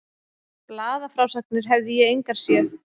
Blaðafrásagnir hefði ég engar séð.